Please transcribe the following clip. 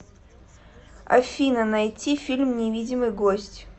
афина найти фильм невидимый гость